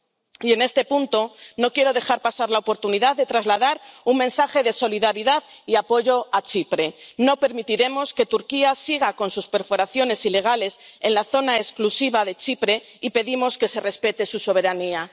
Y en este punto no quiero dejar pasar la oportunidad de trasladar un mensaje de solidaridad y apoyo a Chipre no permitiremos que Turquía siga con sus perforaciones ilegales en la zona económica exclusiva de Chipre y pedimos que se respete su soberanía.